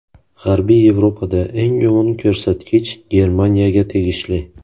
G‘arbiy Yevropada eng yomon ko‘rsatkich Germaniyaga tegishli.